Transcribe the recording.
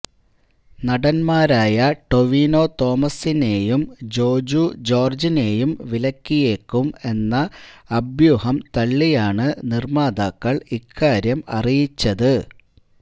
നടൻമാരായ ടൊവിനോ തോമസിനേയും ജോജു ജോർജിനേയും വിലക്കിയേക്കും എന്ന അഭ്യൂഹം തള്ളിയാണ് നിർമ്മാതാക്കൾ ഇക്കാര്യം അറിയിച്ചത്